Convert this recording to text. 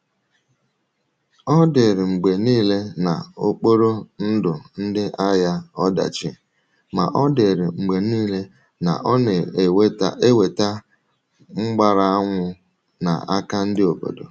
Ọ̀ dịrịrị mgbe niile na ọ kpọrọ ndụ ndị agha ọdachi, ma ọ dịrị mgbe niile na ọ na-eweta mgbàrànwụ n’aka ndị obodo.